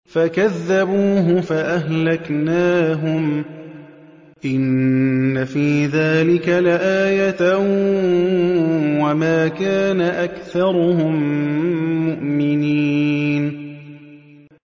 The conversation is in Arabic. فَكَذَّبُوهُ فَأَهْلَكْنَاهُمْ ۗ إِنَّ فِي ذَٰلِكَ لَآيَةً ۖ وَمَا كَانَ أَكْثَرُهُم مُّؤْمِنِينَ